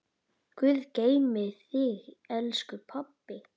Guð geymi þig, elsku pabbi.